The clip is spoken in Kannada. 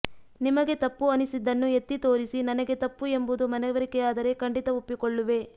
ನಿಮಗೆ ತಪ್ಪು ಅನಿಸಿದ್ದನ್ನು ಎತ್ತಿ ತೋರಿಸಿ ನನಗೆ ತಪ್ಪು ಎಂಬುದು ಮನವರಿಕೆಯಾದರೆ ಖಂಡಿತ ಒಪ್ಪಿಕೊಳ್ಳುವೆ